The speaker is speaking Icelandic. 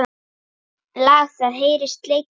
Lag það heyrist leikið á.